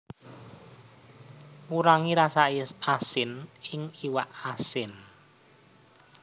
Ngurangi rasa asin ing iwak asin